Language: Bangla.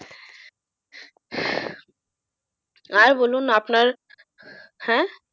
আর বলুন আপনার হ্যাঁ,